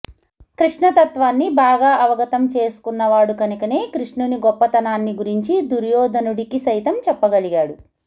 కృష్ణతత్వాన్నీ బాగా అవగతం చేసుకున్నవాడు కనుకనే కృష్ణుని గొప్పతనాన్ని గురించి దుర్యోధనుడికి సైతం చెప్పగలిగాడు